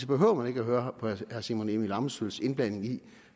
behøver høre på herre simon emil ammitzbølls indblanding i